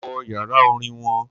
Mo wo yàrá Orin won